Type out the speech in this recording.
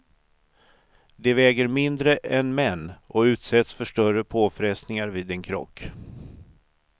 De väger mindre än män och utsätts för större påfrestningar vid en krock.